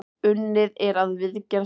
Unnið er að viðgerð þar.